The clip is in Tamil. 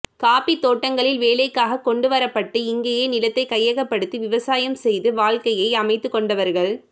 காபிதோட்டங்களில் வேலைக்காக கொண்டுவரப்பட்டு இங்கேயே நிலத்தை கையகப்படுத்தி விவசாயம் செய்து வாழ்க்கையை அமைத்துக்கொண்டவர்கள்